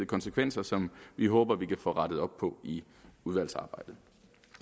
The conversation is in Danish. konsekvenser som vi håber vi kan få rettet op på i udvalgsarbejdet